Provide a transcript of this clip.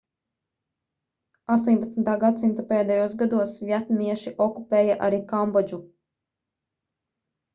18. gs pēdējos gados vjetnamieši okupēja arī kambodžu